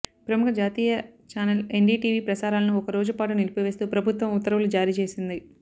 ప్రముఖ జాతీయ channel NDTV ప్రసారాలను ఒక రోజు పాటు నిలిపివేస్తూ ప్రభుత్వం ఉత్తర్వులు జారీ చేసింది